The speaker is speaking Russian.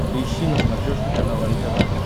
поищи на смотрешке канал нтв